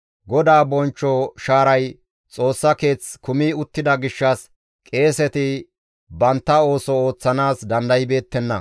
GODAA bonchcho shaaray Xoossa Keeth kumi uttida gishshas qeeseti bantta ooso ooththanaas dandaybeettenna.